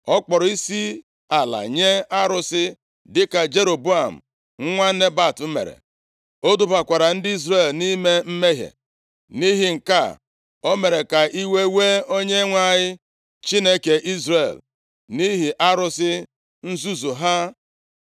Ọ kpọrọ isiala nye arụsị, dịka Jeroboam nwa Nebat mere. O dubakwara ndị Izrel nʼime mmehie. Nʼihi nke a o mere ka iwe wee Onyenwe anyị, Chineke Izrel, nʼihi arụsị nzuzu ha.